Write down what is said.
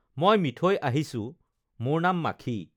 মই মিঠৈ আহিছোঁ মোৰ নাম মাখি